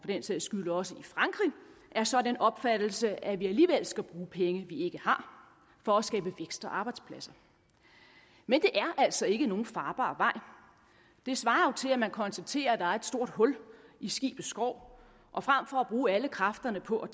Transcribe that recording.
den sags skyld også i frankrig er så af den opfattelse at vi alligevel skal bruge penge vi ikke har for at skabe vækst og arbejdspladser men det er altså ikke nogen farbar vej det svarer jo til at man konstaterer at der er et stort hul i skibets skrog og frem for at bruge alle kræfterne på at